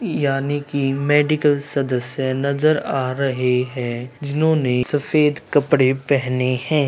यहां नी की मेडिकल सदस्य नजर आ रही है जिन्होंने सफेद कपड़े पेहने है।